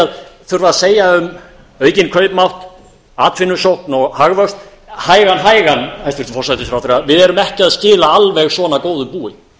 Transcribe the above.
að þurfa að segja um aukinn kaupmátt atvinnusókn og hagvöxt hægan hægan hæstvirtur forsætisráðherra við erum ekki að skila alveg svona góðu búi